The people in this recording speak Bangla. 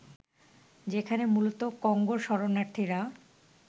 যেখানে মূলত কঙ্গোর শরণার্থীরা